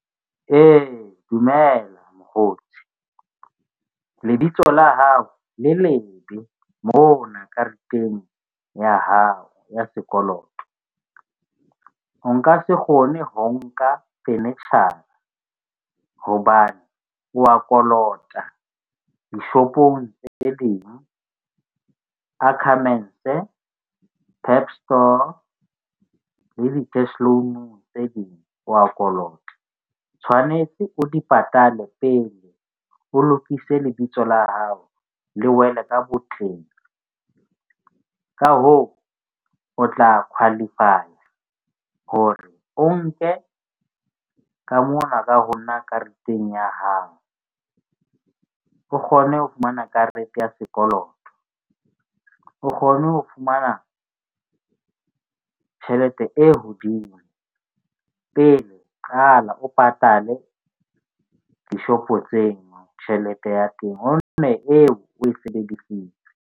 Ee, dumela mokgotsi lebitso la hao le lebe mona kareteng ya hao ya sekoloto. O nka se kgone ho nka furniture-a hobane wa kolota di-shop-ong tse ding. Ackermans, PEP store le di cash loan-u tse ding wa kolota. O tshwanetse o di patale pele o lokise lebitso la hao le wele ka botleng. Ka hoo, o tla khwalifaya hore o nke ka mona ka ho nna kareteng ya hao. O kgone ho fumana karete ya sekoloto, o kgone ho fumana tjhelete e hodimo pele qala o patale di-shop-o tseo tjhelete ya teng o nne eo o e sebedisitse.